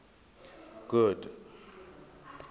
good